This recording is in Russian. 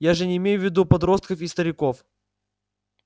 я же не имею в виду подростков и стариков